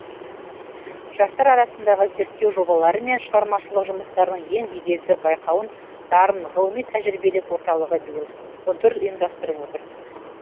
жастар арасындағы зерттеу жобалары мен шығармашылық жұмыстардың ең беделді байқауын дарын ғылыми тәжірибелік орталығы биыл он төрт ұйымдастырып отыр